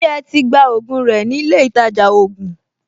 Ṣé o ti gba ògùn rẹ nílé ìtajà ògùn?